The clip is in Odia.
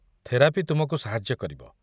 ଥେରାପି ତୁମକୁ ସାହାଯ୍ୟ କରିବ।